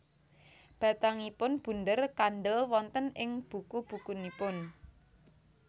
Batangipun bunder kandhel wonten ing buku bukunipun